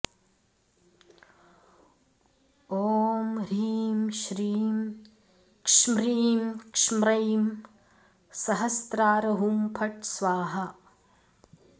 ॐ ह्रीं श्रीं क्ष्म्रीं क्ष्म्रैं सहस्रार हुं फट् स्वाहा